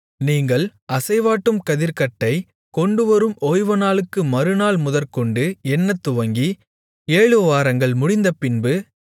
நீங்கள் அசைவாட்டும் கதிர்க்கட்டைக் கொண்டுவரும் ஓய்வுநாளுக்கு மறுநாள் முதற்கொண்டு எண்ணத்துவங்கி ஏழுவாரங்கள் முடிந்தபின்பு